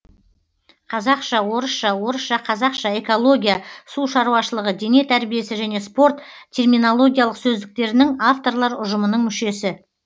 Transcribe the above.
қазақша орысша орысша қазақша экология су шаруашылығы дене тәрбиесі және спорт терминологиялық сөздіктерінің авторлар ұжымының мүшесі